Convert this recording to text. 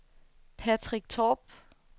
Patrick Torp